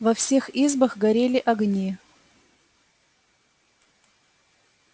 во всех избах горели огни